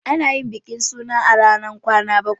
Ana yin bikin suna a ranar kwana bakwai.